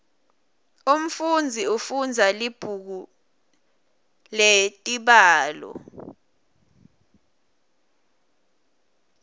umfunzi ufundza libhuku letibalo